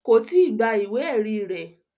Kò tíì gba ìwé ẹ̀rí rẹ̀